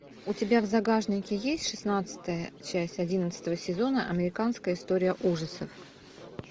у тебя в загашнике есть шестнадцатая часть одиннадцатого сезона американская история ужасов